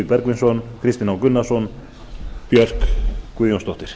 bergvinsson kristinn h gunnarsson og björk guðjónsdóttir